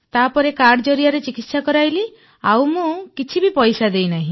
ତାପରେ କାର୍ଡ ଜରିଆରେ ଚିକିତ୍ସା କରାଇଲି ଆଉ ମୁଁ କିଛି ବି ପଇସା ଦେଇନାହିଁ